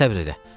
Səbr elə.